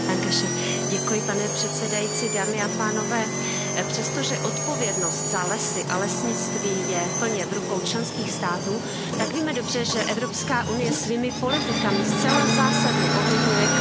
Pane předsedající, přestože odpovědnost za lesy a lesnictví je plně v rukou členských států, tak víme dobře, že Evropská unie svými politikami zcela zásadně ovlivňuje kvalitu lesů.